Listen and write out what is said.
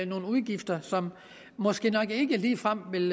nogle udgifter som måske nok ikke ligefrem vil